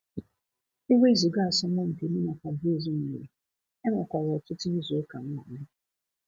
Ewezuga asomumpi mu na Fabrizio nwere, enwekwara otutu izu uka nnwale.